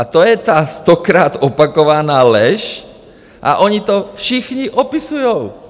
- A to je ta stokrát opakovaná lež a oni to všichni opisují.